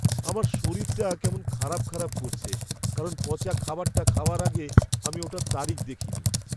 আমার শরীরটা কেমন খারাপ খারাপ করছে কারণ পচা খাবারটা খাওয়ার আগে আমি ওটার তারিখ দেখিনি।